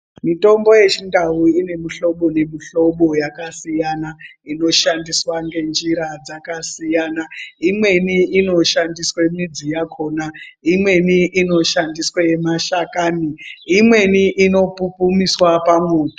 Mitombo yechindau ine mihlobo nemihlobo yakasiyana inoshandiswa nenjira dzakasiyana imweni inoshandiswa midzi yakona Imweni inoshandiswa mashakani Imweni inopupumiswa pamoto.